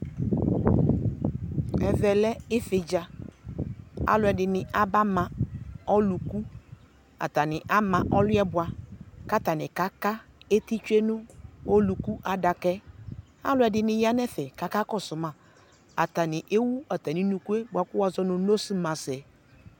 ɛmɛ lɛ ɩvɩdza, alʊɛdɩnɩ aba ma ɔlʊku, atanɩ ama ɔlʊ yɛ bua, kʊ atanɩ ka ka eti tsue nʊ ɔlʊku ayʊ adaka yɛ, alʊɛdɩnɩ ya nʊ ɛfɛ ka kɔsʊ ma, atanɩ akɔ ɛkʊ dʊ nʊ unuku nʊ iyo